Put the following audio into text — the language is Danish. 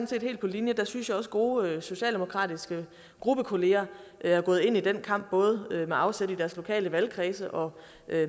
set helt på linje jeg synes også at gode socialdemokratiske gruppekollegaer er gået ind i den kamp både med afsæt i deres lokale valgkredse og